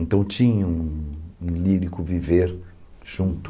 Então tinha um um lírico viver junto